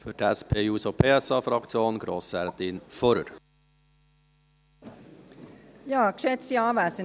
Für die SP-JUSO-PSA-Fraktion hat Grossrätin Fuhrer das Wort.